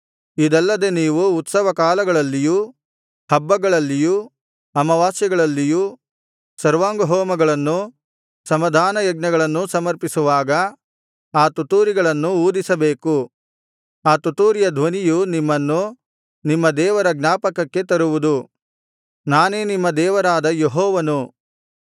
ಇದಲ್ಲದೆ ನೀವು ಉತ್ಸವ ಕಾಲಗಳಲ್ಲಿಯು ಹಬ್ಬಗಳಲ್ಲಿಯು ಅಮಾವಾಸ್ಯೆಗಳಲ್ಲಿಯು ಸರ್ವಾಂಗಹೋಮಗಳನ್ನೂ ಸಮಾಧಾನಯಜ್ಞಗಳನ್ನೂ ಸಮರ್ಪಿಸುವಾಗ ಆ ತುತ್ತೂರಿಗಳನ್ನು ಊದಿಸಬೇಕು ಆ ತುತ್ತೂರಿಯ ಧ್ವನಿಯು ನಿಮ್ಮನ್ನು ನಿಮ್ಮ ದೇವರ ಜ್ಞಾಪಕಕ್ಕೆ ತರುವುದು ನಾನೇ ನಿಮ್ಮ ದೇವರಾದ ಯೆಹೋವನು